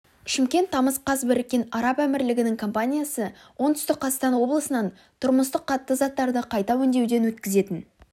шымкент тамыз қаз біріккен араб әмірлігінің компаниясы оңтүстік қазақстан облысынан тұрмыстық қатты заттарды қайта өңдеуден өткізетін